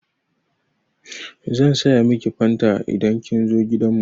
Zan saya miki fanta idan kin zo gidan mu.